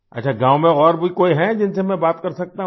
अच्छा गाँव में और भी कोई है जिनसे मैं बात कर सकता हूँ